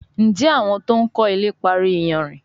Njé àwọn to'n kò ilè parí iyanrìn?